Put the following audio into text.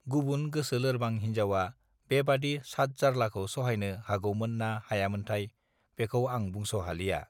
गुबुन गोसो लोरबां हिन्जावआ बेबादि सादजार्लाखौ सहायनो हागौमोन ना हायामोथाय बेखौ आं बुंस हालिया